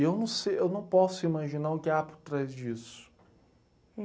E eu não sei, eu não posso imaginar o que há por trás disso.